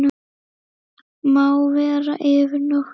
Má vera yfir nótt.